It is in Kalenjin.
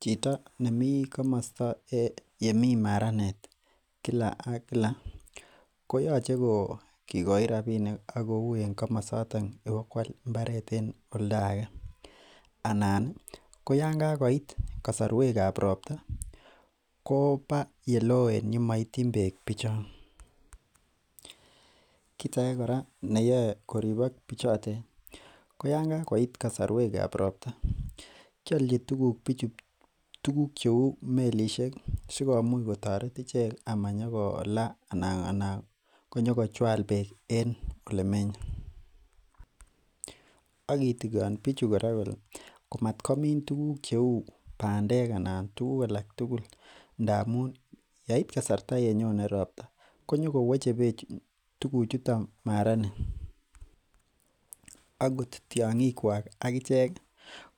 chito nemi komosto en yemi maranet Kila ak Kila koyoche ko kikoi rabinik akouu en komosoto inokual imbaret en oldaege anan ko yoon kakoit kasarwekab robta koba yeloen yemaitien bek bichon. Kit ake kora neyoe koribok bichoten ko yoon kakoit kasarwekab robta kialchi bichu tuguk melisiek sikomuch kotaret ichek amanyokola anan konyokochual bek en olemenye agitikon bichu komatkomin tuguk cheuu bandek anan tuguk tugul ndamuun yait kasarta yenyone robta konyogo weche tuguchuton maranet akot tiong'ikuak akichek